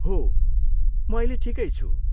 हो, म अहिले ठिकै छु।